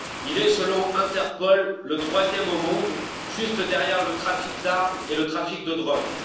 Il est, selon Interpol, le troisième au monde, juste derrière le trafic d'armes et le trafic de drogue.